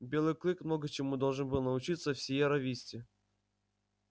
белый клык много чему должен был научиться в сиерра висте